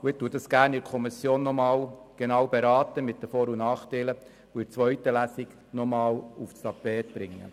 Gerne berate ich in der Kommission nochmals genauer darüber, sodass das Thema in der zweiten Lesung nochmals diskutiert werden kann.